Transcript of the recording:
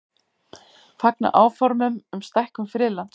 Fagna áformum um stækkun friðlands